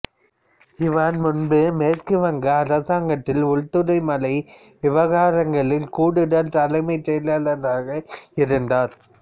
இவர் முன்பு மேற்கு வங்க அரசாங்கத்தில் உள்துறை மலை விவகாரங்களில் கூடுதல் தலைமைச் செயலாளராக இருந்தார்